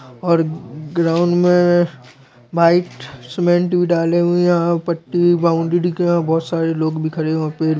और ग्राउंड मे white cement भी डाले हुए है यहाँ पट्टी बाउंड्री के यहाँ बहुत सारे लोग भी खरे है और पेड़ भी--